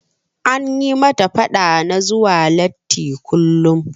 An yi mata faɗa na zuwa latti kullum.